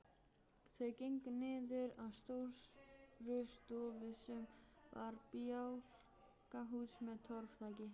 Þeir gengu niður að Stórustofu sem var bjálkahús með torfþaki.